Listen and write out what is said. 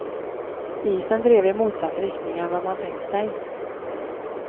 Isen drev i motsatt riktning än vad man tänkt sig.